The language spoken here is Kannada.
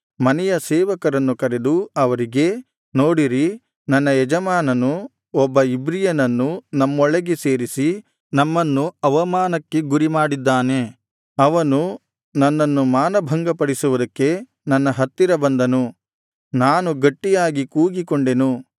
ಮನೆಯ ಸೇವಕರನ್ನು ಕರೆದು ಅವರಿಗೆ ನೋಡಿರಿ ನನ್ನ ಯಜಮಾನನು ಒಬ್ಬ ಇಬ್ರಿಯನನ್ನು ನಮ್ಮೊಳಗೆ ಸೇರಿಸಿ ನಮ್ಮನ್ನು ಅವಮಾನಕ್ಕೆ ಗುರಿಮಾಡಿದ್ದಾನೆ ಅವನು ನನ್ನನ್ನು ಮಾನಭಂಗಪಡಿಸುವುದಕ್ಕೆ ನನ್ನ ಹತ್ತಿರ ಬಂದನು ನಾನು ಗಟ್ಟಿಯಾಗಿ ಕೂಗಿಕೊಂಡೆನು